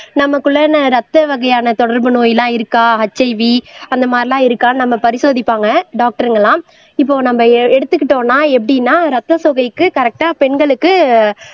நமக்குள்ளானா ரத்த வகையான தொடர்பு நோய் எல்லாம் இருக்கா HIV அந்த மாதிரி எல்லாம் இருக்கான்னு நம்ம பரிசோதிப்பாங்க டாக்டருங்க எல்லாம் இப்போ நம்ம எ எடுத்துகிட்டோம்னா எப்படின்னா ரத்த சோகைக்கு கரெக்டா பெண்களுக்கு